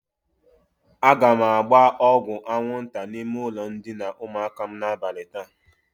Aga m agba ọgwụ aṅwụnta n'ime ụlọ ndịna ụmụaka m n'abali taa.